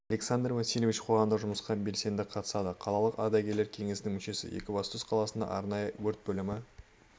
александар васильевич қоғамдық жұмысқа белсенді қатысады қалалық ардагерлер кеңсінің мүшесі екібастұз қаласындағы арнайы өрт бөлімі